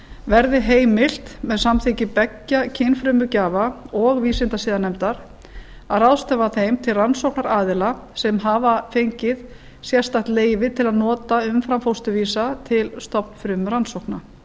verði heimilt með samþykki beggja kynfrumugjafa og vísindasiðanefndar að ráðstafa þeim til rannsóknaraðila sem hafa fengið sérstakt leyfi til að nota umframfósturvísa til stofnfrumurannsókna